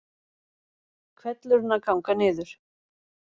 Hvellurinn að ganga niður